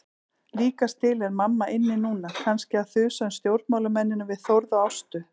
Líkast til er mamma inni núna, kannski að þusa um stjórnmálamennina við Þórð og Ástu.